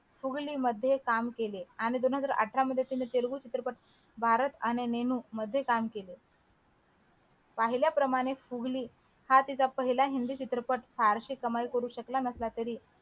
फुगली मध्ये काम केले आणि दोन हजार अठरा मध्ये तिने तेलगू चित्रपट भारत आणि नेणू मध्ये काम केले पाहिल्याप्रमाणे फुगली हा तिचा पहिला हिंदी चित्रपट फारशी कमाई करू शकला नसला तरी